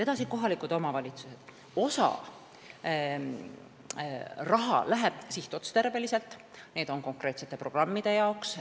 Edasi, kohalikud omavalitsused: osa raha läheb sinna sihtotstarbeliselt, see on konkreetsete programmide jaoks.